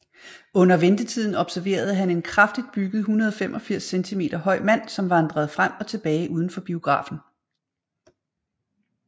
Under ventetiden observerede han en kraftigt bygget 185 centimeter høj mand som vandrede frem og tilbage uden for biografen